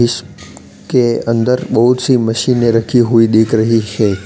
इस के अंदर बहुत सी मशीनें रखी हुई दिक रही हैं।